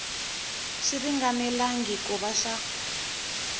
xi ringanelangi ku va xa